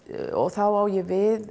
þá á ég við